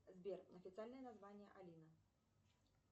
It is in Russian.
сбер официальное название алина